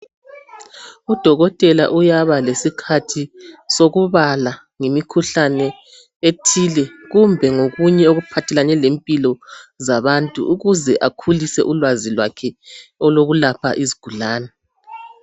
udokotela uyaba lesikhathi sokubala ngemikhuhlane ethile kumbe ngokunye okuphathelane lempilo zabantu ukze akhulise ulwazi lwakhe olokulapha izigulane